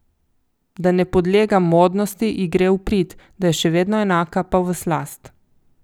Da ne podlega modnosti, ji gre v prid, da je še vedno enaka, pa v slast.